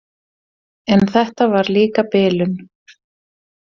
En þetta var líka bilun.